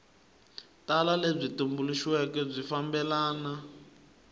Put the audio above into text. tala lebyi tumbuluxiweke byi fambelana